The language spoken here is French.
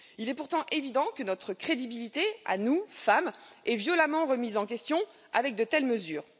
Il est pourtant évident que notre crédibilité à nous, femmes, est violemment remise en question avec de telles mesures.